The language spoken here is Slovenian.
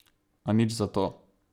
A nič zato.